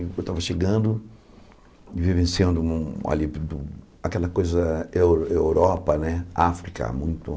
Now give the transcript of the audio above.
Eu estava chegando e vivenciando um ali aquela coisa Eu Europa né, África, muito.